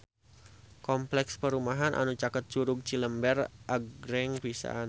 Kompleks perumahan anu caket Curug Cilember agreng pisan